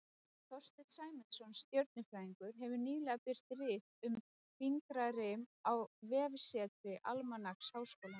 Þorsteinn Sæmundsson stjörnufræðingur hefur nýlega birt rit um fingrarím á vefsetri Almanaks Háskólans.